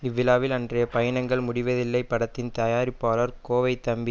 இவ்விழாவில் அன்றைய பயணங்கள் முடிவதில்லை படத்தின் தயாரிப்பாளர் கோவைத்தம்பி